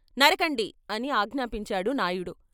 నరకండి " అని ఆజ్ఞాపించాడు నాయుడు.